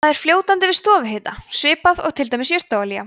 það er fljótandi við stofuhita svipað og til dæmis jurtaolía